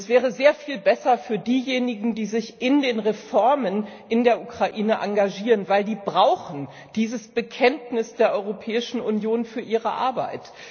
Das wäre sehr viel besser für diejenigen, die sich in den Reformen in der Ukraine engagieren, denn die brauchen dieses Bekenntnis der Europäischen Union für ihre Arbeit.